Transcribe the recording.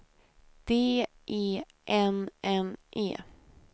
D E N N E